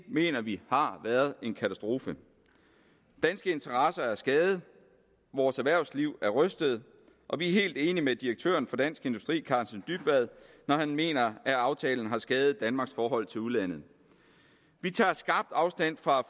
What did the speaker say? mener vi har været en katastrofe danske interesser er skadet vores erhvervsliv er rystet og vi er helt enig med direktøren for dansk industri karsten dybvad når han mener at aftalen har skadet danmarks forhold til udlandet vi tager skarpt afstand fra